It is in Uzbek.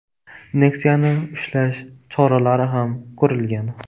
Nexia’ni ushlash choralari ham ko‘rilgan.